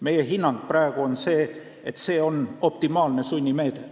Meie hinnang on praegu selline, et see on optimaalne sunnimeede.